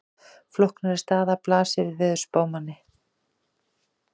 Flóknari staða blasir við veðurspámanni.